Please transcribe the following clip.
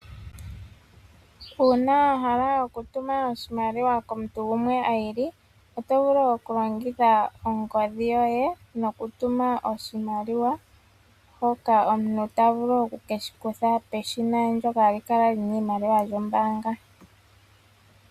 Uuna wa hala okutuma oshimaliwa komuntu gumwe i ili, oto vulu okulongitha ongodhi yoye opo wu tume oshimaliwa hoka omuntu ta vulu oku ke shi kutha peshina lyombaanga pondje.